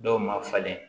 Dɔw ma falen